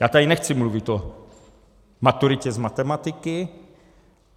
Já tady nechci mluvit o maturitě z matematiky.